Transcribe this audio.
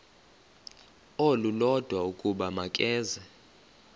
olulodwa ukuba makeze